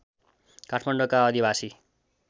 काठमाडौँका आदिवासी